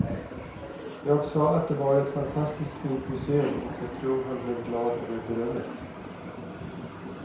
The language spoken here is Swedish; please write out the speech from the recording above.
Jag sa att det var ett fantastiskt fint museum och jag tror han blev glad över berömmet.